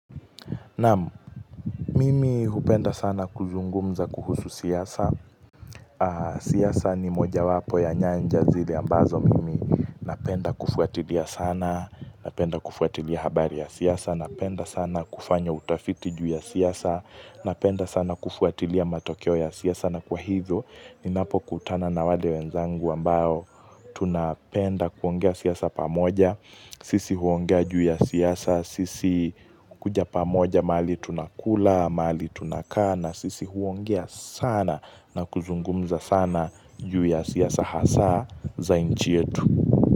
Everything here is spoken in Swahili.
Naam mimi hupenda sana kuzungumza kuhusu siasa siasa ni moja wapo ya nyanja zile ambazo mimi napenda kufuatilia sana. Napenda kufuatilia habari ya siasa, napenda sana kufanya utafiti juu ya siasa Napenda sana kufuatilia matokeo ya siasa na kwa hivyo ninapokutana na wale wenzangu ambao tunapenda kuongea siasa pamoja sisi huongea juu ya siasa, sisi kuja pamoja mahali tunakula, mahali tunakaa na sisi huongea sana na kuzungumza sana juu ya siasa hasa za nchi yetu.